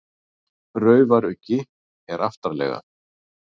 Raufaruggi er aftarlega.